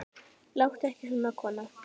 Láttu ekki svona, kona.